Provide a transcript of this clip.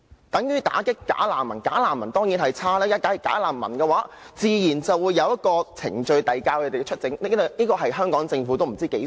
等於"打擊'假難民'"，"假難民"當然是不好的，自然要有程序遞解他們出境，這是香港政府多麼渴望的事。